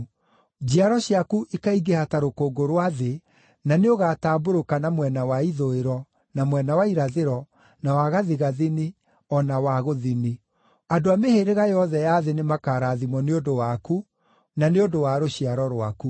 Njiaro ciaku ikaingĩha ta rũkũngũ rwa thĩ, na nĩũgatambũrũka na mwena wa ithũĩro, na mwena wa irathĩro, na wa gathigathini, o na wa gũthini. Andũ a mĩhĩrĩga yothe ya thĩ nĩmakarathimwo nĩ ũndũ waku, na nĩ ũndũ wa rũciaro rwaku.